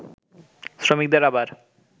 শ্রমিকদের আবার